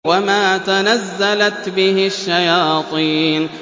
وَمَا تَنَزَّلَتْ بِهِ الشَّيَاطِينُ